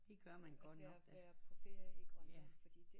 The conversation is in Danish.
Af af at være på ferie i Grønland